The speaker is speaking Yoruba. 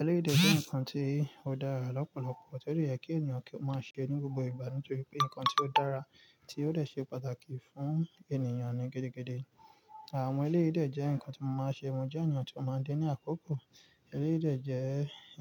Eléyìí dè jẹ́ nǹkan tí ó dára lọ́pọ̀lọpọ̀, tó dé yẹ kí ènìyàn kí ó máa ṣe ní gbogbo ìgbà. Nítorí pé nǹkan tí ó dára tí ó dè ṣe pàtàkì fún ènìyàn ní gidigidi. Àwọn elérìí ìdè jẹ́ nǹkan tí mo máa ṣe. Mo jẹ́ ènìyàn tí ó máa dé ní àkókò. Eléyìí dè jẹ́